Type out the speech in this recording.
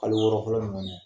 Aw bɛ n yɛlɛ kun dɔn dɛ !